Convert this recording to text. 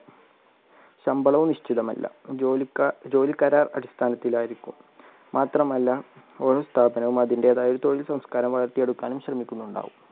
ശമ്പളവും നിശ്ചിതമല്ല ജോലിക്കാരുടെ അടിസ്ഥാനത്തിൽ ആയിരിക്കും മാത്രമല്ല ഓരോ സ്ഥാപനവും അതിൻറെതായ തൊഴിൽ സംസ്കാരം വളർത്തിയെടുക്കാനും ശ്രമിക്കുന്നുണ്ടാവും.